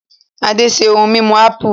Ade ṣe ohun mímu ápù